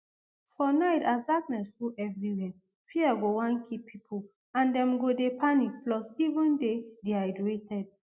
for night as darkness full evriwia fear go wan kill pipo and dem go dey panic plus even dey dehydrated